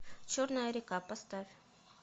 черная река поставь